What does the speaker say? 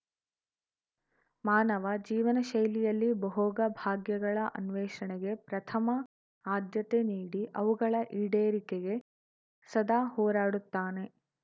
ಮಾನವ ಜೀವನಶೈಲಿಯಲ್ಲಿ ಭೋಗಭಾಗ್ಯಗಳ ಅನ್ವೇಷಣೆಗೆ ಪ್ರಥಮ ಆದ್ಯತೆ ನೀಡಿ ಅವುಗಳ ಈಡೇರಿಕೆಗೆ ಸದಾ ಹೋರಾಡುತ್ತಾನೆ